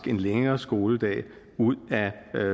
en længere skoledag ud